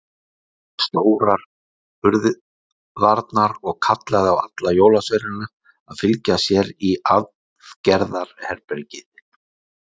Hann opnaði stórar hurðarnar og kallaði á alla jólasveinana að fylgja sér í aðgerðarherbergið.